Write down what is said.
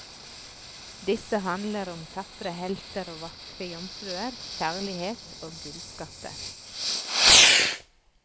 Disse handler om tapre helter og vakre jomfruer, kjærlighet, og gullskatter.